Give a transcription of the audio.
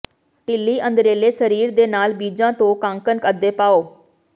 ਢਿੱਲੀ ਅੰਦਰਲੇ ਸਰੀਰ ਦੇ ਨਾਲ ਬੀਜਾਂ ਤੋਂ ਕਾੰਕਨ ਅੱਧੇ ਪਾਉ